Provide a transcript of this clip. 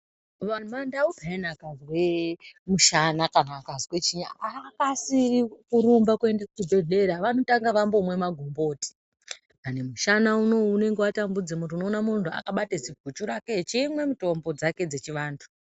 Mandau pheyani akazwe musana ,kana akazwe chiyini, haakasiri kurumbe kuende kuchibhedhlera vanotanga vambomwe magomboti, dani mushana uno unenge watambudze muntu, unoone muntu wakabata ziguchu rake echimwa mitombo dzake dzechivantu.